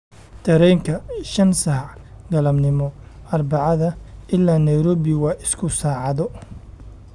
Tareenka shan saax galabnimo arbacada ilaa nairobi waa isku saacado